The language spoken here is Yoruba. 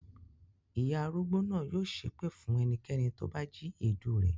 Ìyá arúgbó náà yóò ṣépè fún ẹnikẹ́ni tó bá jí èédú rẹ̀.